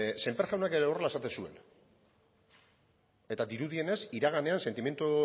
sémper jaunak ere horrela esaten zuen eta dirudienez iraganean sentimendu